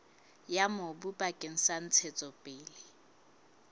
ya mobu bakeng sa ntshetsopele